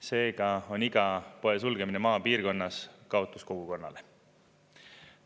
Seega on iga poe sulgemine maapiirkonnas kaotus kogukonnale.